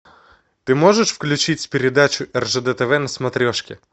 ты можешь включить передачу ржд тв на смотрешке